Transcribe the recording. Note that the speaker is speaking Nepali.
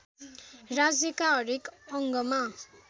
राज्यका हरेक अङ्गमा